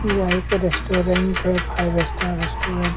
यह एक रेस्टोरेंट है फाइव स्टार रेस्टोरेंट।